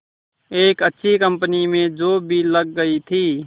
एक अच्छी कंपनी में जॉब भी लग गई थी